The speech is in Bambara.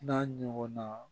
N'a ɲɔgɔnna